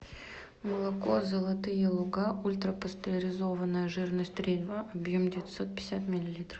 молоко золотые луга ультра пастеризованное жирность три и два объем девятьсот пятьдесят миллилитров